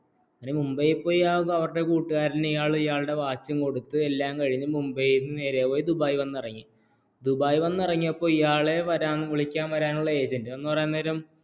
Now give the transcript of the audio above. മുംബൈപോയി അവരുടെകുട്ടുകരന്നുഇയള്ളുടെ വാച്ച് കൊടുത്തുംഎല്ലാം കഴിഞ്ഞ് മുംബൈനിന്നും നേരെ പോയി ദുബായി വന്നിറങ്ങി ദുബായ് വന്ന് ഇറങ്ങിയപ്പോൾ ഈയള്ലെ വിളിക്കാൻ വരാനുള്ള ഏജന്റ് എന്ന് പരയുംനേരം